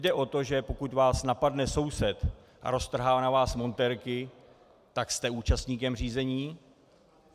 Jde o to, že pokud vás napadne soused a roztrhá na vás montérky, tak jste účastníkem řízení.